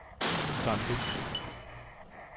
Dunby